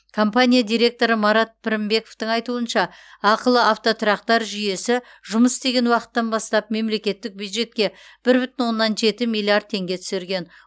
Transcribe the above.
компания директоры марат пірінбековтің айтуынша ақылы автотұрақтар жүйесі жұмыс істеген уақыттан бастап мемлекеттік бюджетке бір бүтін оннан жеті миллиард теңге түсірген